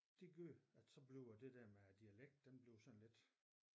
Det gør at så bliver det der med æ dialekt den bliver sådan lidt